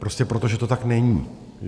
Prostě proto, že to tak není.